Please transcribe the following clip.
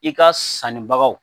I ka sannibagaw